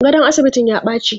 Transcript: Gadon asibitin ya baci.